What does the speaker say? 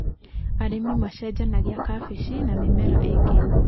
Arĩmi macenjanagia kabeci na mĩmera ĩngĩ.